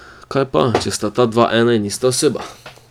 Kaj pa, če sta ta dva ena in ista oseba ...